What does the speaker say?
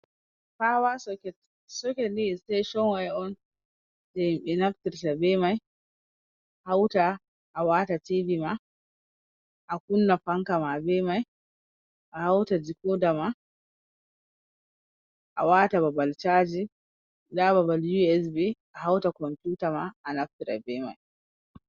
Fawa soket, socket ni extension wire on, je himɓe naftirta be man hauta awata tv ma, akunna fanka ma, be mai, ahauta decorder ma, awata babal chaji, nda babal usb ahauta computer ma a naftira bai mai.